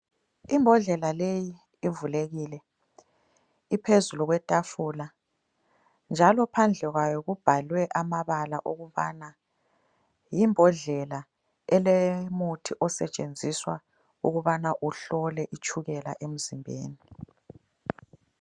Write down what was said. Imbodlela leyi ivulekile, iphezulu kwetafula njalo phandle kwayo kubhalwe amabala okubana yimbodlela elomuthi osetshenziswa ukubana uhlole itshukela emzimbeni.